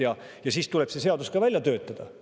Ja see seadus tuleb ka välja töötada.